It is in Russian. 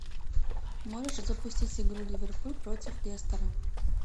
можешь запустить игру ливерпуль против лестера